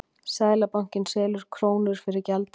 Seðlabankinn selur krónur fyrir gjaldeyri